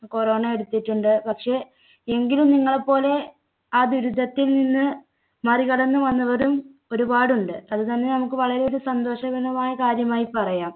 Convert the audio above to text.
corona എടുത്തിട്ടുണ്ട്. പക്ഷേ എങ്കിലും നിങ്ങളെപ്പോലെ ആ ദുരിതത്തിൽ നിന്ന് മറികടന്ന് വന്നവരും ഒരുപാടുണ്ട്. അത് തന്നെ നമുക്ക് വളരെ ഒരു സന്തോഷകരമായ കാര്യമായി പറയാം.